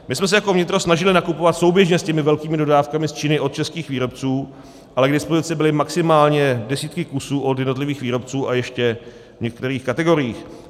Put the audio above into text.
My jsme se jako vnitro snažili nakupovat souběžně s těmi velkými dodávkami z Číny od českých výrobců, ale k dispozici byly maximálně desítky kusů od jednotlivých výrobců, a ještě v některých kategoriích.